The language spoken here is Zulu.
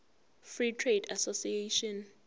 free trade association